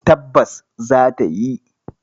Tabbas za ta yi.